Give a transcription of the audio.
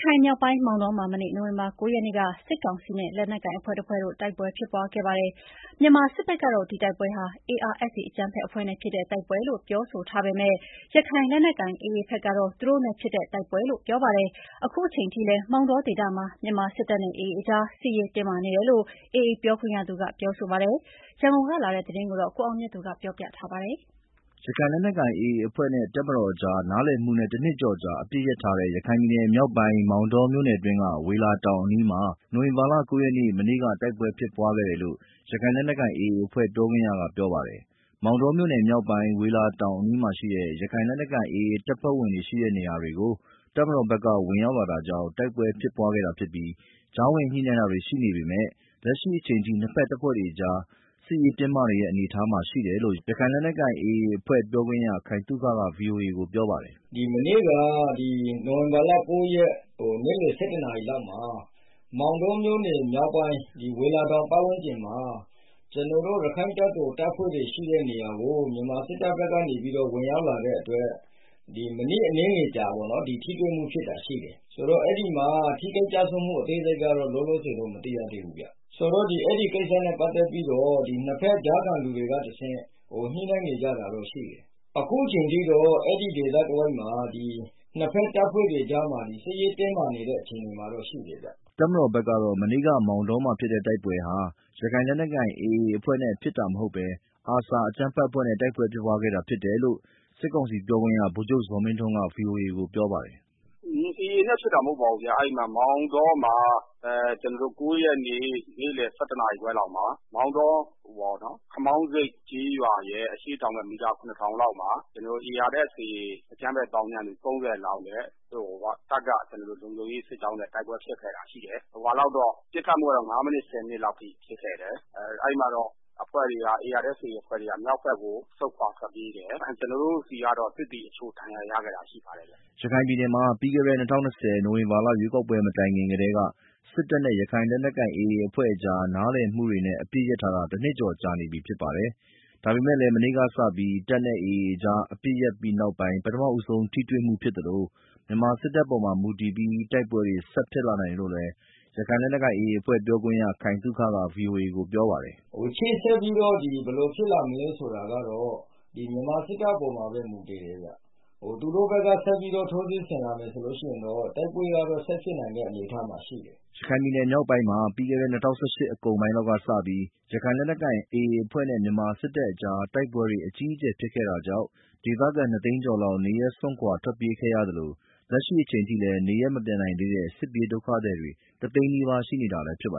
ခိုင်မြောက်ပိုင်း မောင်တောမှာ မနေ့ နိုဝင်ဘာလ ၉ ရက်နေ့က စစ်ကောင်စီနဲ့ လက်နက်ကိုင်အဖွဲ့တဖွဲ့ တိုက်ပွဲဖြစ်ခဲ့ပါတယ်။ မြန်မာစစ်ဘက်ကတော့ ဒီတိုက်ပွဲဟာ ARSA အကြမ်းဖက်အဖွဲ့နဲ့ဖြစ်တဲ့ တိုက်ပွဲလို့ ပြောဆိုထားပေမယ့် ရခိုင်လက်နက်ကိုင် AA ဘက်ကတော့ သူတို့နဲ့ဖြစ်တဲ့တိုက်ပွဲလို့ ပြောပါတယ်။ အခုအချိန်အထိလည်း မောင်တောဒေသမှာ မြန်မာစစ်တပ်နဲ့ AA အကြား စစ်ရေးတင်းမာနေတယ်လို့ AA ပြောခွင့်ရသူက ပြောဆိုပါတယ်။ ရန်ကုန်ကလာတဲ့သတင်းကို ကိုအောင်မြတ်သူ ပြောပြမှာပါ။ ရခိုင်လက်နက်ကိုင် AA အဖွဲ့နဲ့ တပ်မတော်ကြား နားလည်မှုနဲ့ တနှစ်ကျော်ကြာ အပစ်ရပ်ထားတဲ့ ရခိုင်ပြည်နယ်မြောက်ပိုင်း မောင်တောမြို့နယ်အတွင်းက ဝေလာတောင်အနီးမှာ နိုဝင်ဘာလ ၉ ရက်နေ့ မနေ့က တိုက်ပွဲဖြစ်ပွားခဲ့တယ်လို့ ရခိုင်လက်နက်ကိုင် AA အဖွဲ့ ပြောခွင့်ရက ပြောပါတယ်။ မောင်တောမြို့နယ်မြောက်ပိုင်း ဝေလာတောင်အနီးမှာရှိတဲ့ ရခိုင်လက်နက်ကိုင် AA တပ်ဖွဲ့ဝင်တွေရှိတဲ့ နေရာတွေကို တပ်မတော်ဘက်က ဝင်ရောက်လာတာကြောင့် တိုက်ပွဲဖြစ်ပွားခဲ့တာဖြစ်ပြီး ကြားဝင်ညှိနှိုင်းတာတွေ ရှိနေပေမယ့် လက်ရှိအချိန်ထိ နှစ်ဖက်အဖွဲ့တွေကြား စစ်ရေးတင်းမာနေတဲ့ အနေအထားမှာ ရှိတယ်လို့ ရခိုင်လက်နက်ကိုင် AA အဖွဲ့ ပြောခွင့်ရ ခိုင်သုခက ဗွီအိုအေကို ပြောပါတယ်။ “မနေ့က နိုဝင်ဘာလ ၉ ရက် နေ့လယ် ၁၁ နာရီမှာ မောင်တောမြို့နယ် မြောက်ပိုင်း ဝေလာတောင် ပတ်ဝန်းကျင်မှာ ကျနော်တို့ ရခိုင့်တပ်တော် တပ်ဖွဲ့တွေရှိတဲ့နေရာကို မြန်မာစစ်တပ်ဘက်က ဝင်ရောက်လာတဲ့အတွက် မိနစ်အနည်းငယ်ကြာ ထိတွေ့မှုဖြစ်တာ ရှိတယ်။ အဲဒီမှာ ထိခိုက်ကျဆုံးမှု အသေးစိတ်ကတော့ လောလောဆယ် မသိရသေးပါဘူးခင်ဗျာ။ ဆိုတော့ အဲဒီကိစ္စနဲ့ ပတ်သက်ပြီးတော့ နှစ်ဖက် ကြားခံလူတွေကတဆင့် ညှိနှိုင်းနေကြတာတွေတော့ ရှိတယ်။ အခုအချိန်ထိ အဲဒီဒေသမှာ နှစ်ဖက်တပ်ဖွဲ့တွေကြား စစ်ရေးတင်းမာနေတဲ့ အနေအထားမှာ ရှိတယ်ဗျာ။” တပ်မတော်ဘက်ကတော့ မနေ့က မောင်တောမှာဖြစ်တဲ့ တိုက်ပွဲဟာ ရခိုင်လက်နက်ကိုင် AA အဖွဲ့နဲ့ဖြစ်တာမဟုတ်ဘဲ ARSA အကြမ်းဖက်အဖွဲ့နဲ့ တိုက်ပွဲဖြစ်ပွားခဲ့တာ ဖြစ်တယ်လို့ စစ်ကောင်စီပြောခွင့်ရ ဗိုလ်ချုပ်ဇော်မင်းထွန်းက ဗွီအိုအေကို ပြောပါတယ်။ “AA နဲ့ဖြစ်တာ မဟုတ်ပါဘူးဗျာ။ အဲဒီမှာ မောင်တောမှာ ၉ ရက်နေ့ နေ့လယ် ၁၁ နာရီခွဲလောက်မှာ မောင်တော ခမောင်းဆိပ်ကျေးရွာရဲ့ အရှေ့တောင်ဘက် မီတာ ၇,၀၀၀ လောက်မှာ ARSA အကြမ်းဖက်သောင်းကျန်းသူ ၃၀ လောက်နဲ့ တပ်က လုံခြုံရေးစစ်ကြောင်းနဲ့ တိုက်ပွဲဖြစ်ခဲ့တာရှိတယ်။ ပစ်ခတ်မှုကတော့ ငါးမိနစ် ဆယ်မိနစ်လောက်ထိ ပစ်ခတ်မှုဖြစ်ခဲ့တယ်။ အဲဒီမှာ ARSA အဖွဲ့တွေက မြောက်ဘက်ကို ဆုတ်ခွာထွက်ပြေးတယ်။ ကျနော်တို့ဆီကတော့ စစ်သည်အချို့ ဒဏ်ရာရခဲ့တာ ရှိပါတယ်ဗျာ။” ရခိုင်ပြည်နယ်မှာ ပြီးခဲ့တဲ့ ၂၀၂၀ ခုနှစ် နိုဝင်ဘာလ ရွေးကောက်ပွဲ မတိုင်ခင်ကတည်းက တပ်နဲ့ ရခိုင်လက်နက်ကိုင် AA အဖွဲ့ကြား နားလည်မှုတွေနဲ့ အပစ်ရပ်ထားတာ တနှစ်ကျော်ကြာနေပြီ ဖြစ်ပါတယ်။ ဒါပေမယ့်လည်း မနေ့ကစပြီး တပ်နဲ့ AA အဖွဲ့ကြား တိုက်ပွဲတွေ ရပ်တန့်ထားပြီးနောက်ပိုင်း ပထမဆုံး ထိတွေ့မှုဖြစ်သလို မြန်မာစစ်တပ်ပေါ်မှာ မူတည်ပြီး တိုက်ပွဲတွေ ဆက်ဖြစ်လာနိုင်တယ်လို့လည်း ရခိုင်လက်နက်ကိုင် AA အဖွဲ့ ပြောခွင့်ရ ခိုင်သုက ဗွီအိုအေကို ပြောပါတယ်။ “ရှေ့ဆက်ပြီးတော့ ဘယ်လိုဖြစ်လာမလဲ ဆိုတာကတော့ မြန်မာစစ်တပ်အပေါ်မှာပဲ မူတည်တယ်ဗျာ။ သူတို့ဘက်က ဆက်ပြီးတော့ ထိုးစစ်ဆင်လာမယ် ဆိုလို့ရှိရင်တော့ တိုက်ပွဲက ဆက်ဖြစ်နိုင်တဲ့ အနေအထားမှာ ရှိတယ်။” ရခိုင်ပြည်နယ်မြောက်ပိုင်းမှာ ပြီးခဲ့တဲ့ ၂၀၁၈ အကုန်ပိုင်းလောက်ကစပြီး ရခိုင်လက်နက်ကိုင် AA အဖွဲ့နဲ့ မြန်မာစစ်တပ်ကြား တိုက်ပွဲတွေ အကြီးအကျယ် ဖြစ်ခဲ့တာကြောင့် ဒေသခံ ၂ သိန်းကျော်လောက် နေရပ်စွန့်ခွာ ထွက်ပြေးခဲ့ရသလို လက်ရှိအချိန်ထိလည်း နေရပ်မပြန်နိုင်သေးတဲ့ စစ်ဘေးဒုက္ခသည်တွေ တသိန်းနီးပါး ရှိနေသေးတာလည်း ဖြစ်ပါ